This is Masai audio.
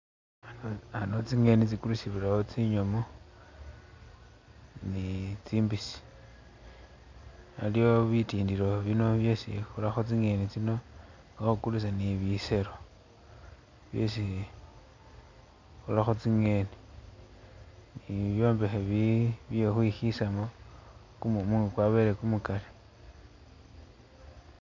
Ano tsingheni tsikulisibwilawo tsinyomu ni tsimbisi, aliwo bitindilo bino byesi khurakho tsingheni tsino nga kha khukulisa ni biselo byesi khurakho tsingheni, ni bibyombekhe bi- bye khukhwishisamo kumumu nga kwabeye kumukali.